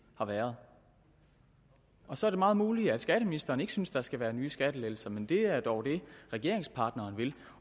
har været så er det meget muligt at skatteministeren ikke synes at der skal være nye skattelettelser men det er dog det regeringspartneren vil